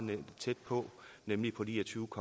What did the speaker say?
tæt på nemlig på ni og tyve